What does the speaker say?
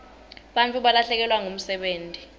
bantfu balahlekelwa ngumsebenti